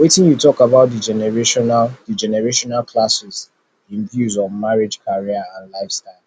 wetin you think about di generational di generational clashes in views on marriage career and lifestyle